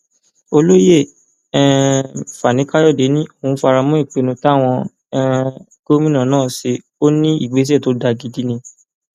olóyè um fanikàyọdé ni òún fara mọ ìpinnu táwọn um gómìnà náà ṣe ó ní ìgbésẹ tó dáa gidi ni